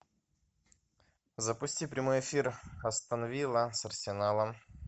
запусти прямой эфир астон вилла с арсеналом